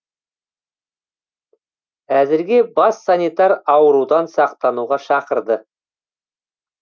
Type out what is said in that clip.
әзірге бас санитар аурудан сақтануға шақырды